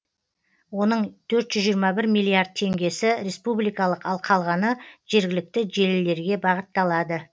оның төрт жүз жиырма бір миллиард теңгесі республикалық ал қалғаны жергілікті желілерге бағытталады